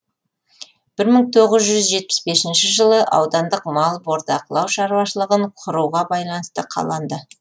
бір мың тоғыз жүз жетпіс бесінші жылы аудандық мал бордақылау шаруашылығын құруға байланысты қаланды